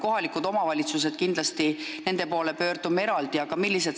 Kohalikud omavalitsused on omaette teema, nende poole pöördume kindlasti eraldi.